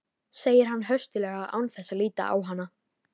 segir hann höstuglega án þess að líta á hana.